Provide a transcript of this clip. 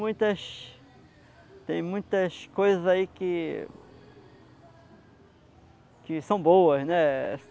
muitas tem muitas coisas aí que que são boas, né?